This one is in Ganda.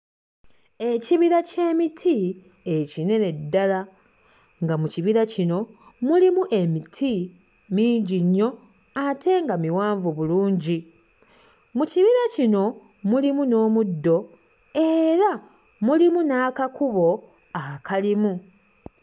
Ekibira ky'emiti ekinene ddala nga mu kibira kino mulimu emiti mingi nnyo ate nga miwanvu bulungi mu kibira kino mulimu n'omuddo era mulimu n'akakubo akalimu.